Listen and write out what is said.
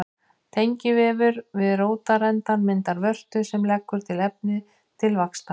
Tengivefur við rótarendann myndar vörtu sem leggur til efni til vaxtar.